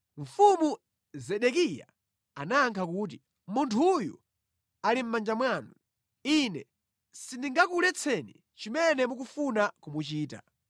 Mfumu Zedekiya anayankha kuti, “Munthuyu ali mʼmanja mwanu. Ine sindingakuletseni chimene mukufuna kumuchitira.”